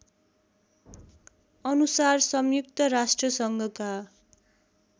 अनुसार संयुक्त राष्ट्रसङ्घका